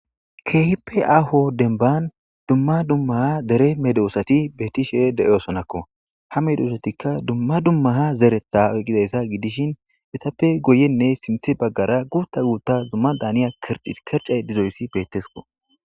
kehipeaaho denban dumma dummaha dere medoosati beetishe de7osonakko ha meduosatikka dumma dummaha zeretha eqidayssa gidishin etappe goyenne sinthe baggara guutta guutta zumma daaniya kircay dizoyssi bettesko